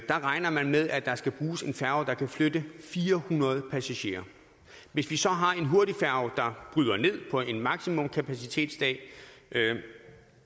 der regner man med at der skal bruges en færge der kan flytte fire hundrede passagerer hvis vi så har en hurtigfærge der bryder ned på en maksimumkapacitetsdag